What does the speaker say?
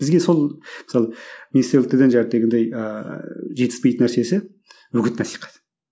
бізге сол мысалы ыыы жетіспейтін нәрсесі үгіт насихат